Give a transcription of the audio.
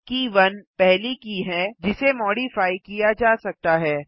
के 1 पहली की है जिसे मॉडिफाइ किया जा सकता है